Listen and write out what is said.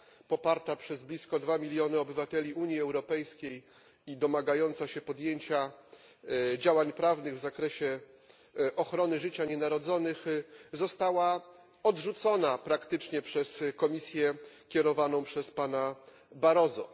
poparta przez blisko 2 miliony obywateli Unii Europejskiej i domagająca się podjęcia działań prawnych w zakresie ochrony życia nienarodzonych, została praktycznie odrzucona przez Komisję kierowaną przez pana Barroso.